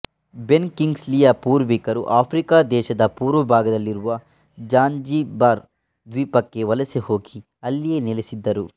ಬೆನ್ ಕಿಂಗ್ಸ್ಲಿಯ ಪೂರ್ವಿಕರು ಆಫ್ರಿಕಾದೇಶದ ಪೂರ್ವಭಾಗದಲ್ಲಿರುವ ಝಾಂಝಿಬಾರ್ ದ್ವೀಪಕ್ಕೆ ವಲಸೆ ಹೋಗಿ ಅಲ್ಲಿಯೇ ನೆಲೆಸಿದ್ದರು